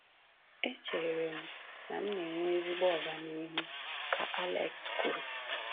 “Echere m na m na-enwe ezigbo ọganihu, ”ka Alex kwuru"